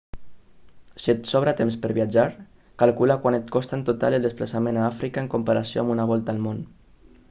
si et sobra temps per viatjar calcula quant et costa en total el desplaçament a àfrica en comparació amb una volta al món